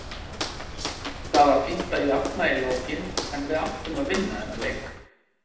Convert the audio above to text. Það var fínt að jafna í lokin en við áttum að vinna þennan leik.